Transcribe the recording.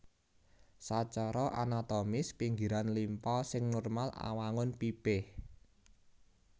Sacara anatomis pinggiran limpa sing normal awangun pipih